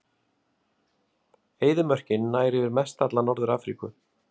Eyðimörkin nær yfir mestalla Norður-Afríku.